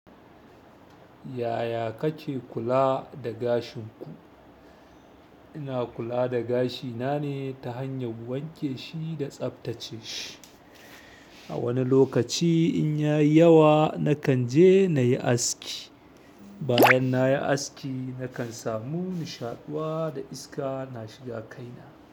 Yaya kake kula da gashin ku? Ina kula da gashina ne ta hanyar wanke shi da tsaftace shi. Wani lokaci in yayi yawa nakan je nayi aski. Bayan na yi aski, nakan samu nishaɗuwa da iska na shiga kaina.